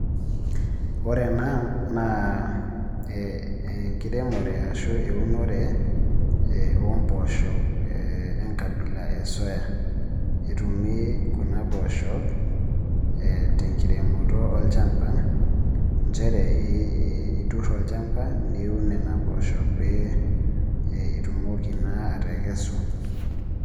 Ore ena naa enkiremore ashuu eunore oo mboosho enkabila e soya etumi kuna poosho ee tenkiremoto olchamba, njere itur olchamba niun nena poosho pee itumoki naa atekesu.